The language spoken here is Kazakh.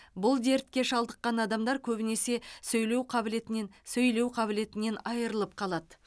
бұл дертке шалдыққан адамдар көбінесе сөйлеу қабілетінен сөйлеу қабілетінен айрылып қалады